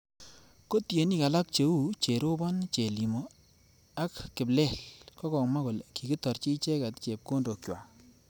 Ko tienik alak cheo Cherobon, chelimo aka kiplel kokomwa kole kikitarchi icheket chepkondok chwak